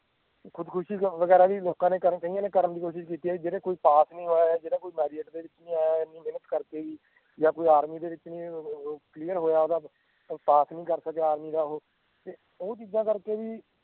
ਖੁਦਖੁਸ਼ੀ ਕਰਨ ਵਗੈਰਾ ਕਈ ਲੋਕਾਂ ਨੇ ਕਰਨ ਦੀ ਕੋਸ਼ਿਸ਼ ਕਿੱਤੀ ਆ ਜਿਹੜੇ ਕੋਈ ਪਾਸ ਨੀ ਹੋਇਆ ਜਾਂ ਜਿਹੜਾ ਕੋਈ merit ਦੇ ਵਿਚ ਨਹੀਂ ਆਇਆ ਇਹਨੀ ਮੇਹਨਤ ਕਰਕੇ ਵੀ ਜਾਂ ਕੋਈ army ਦੇ ਵਿਚ ਕੋਈ clear ਨੀ ਹੋਇਆ ਜਾਂ ਪਾਸ ਨੀ ਕਰ ਸਕਿਆ army ਦਾ ਓਹੋ ਤਾਂ ਉਹ ਚੀਜ਼ਾਂ ਕਰਕੇ ਵੀ